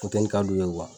Funteni ka d'u ye